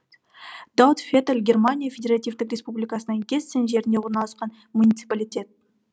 даутфеталь германия федеративтік республикасының гессен жерінде орналасқан муниципалитет